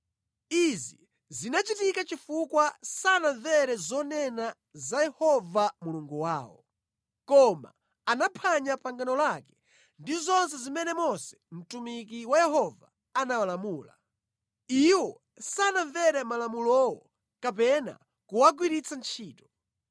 Izi zinachitika chifukwa sanamvere zonena za Yehova Mulungu wawo, koma anaphwanya pangano lake ndi zonse zimene Mose mtumiki wa Yehova anawalamula. Iwo sanamvere malamulowo kapena kuwagwiritsa ntchito.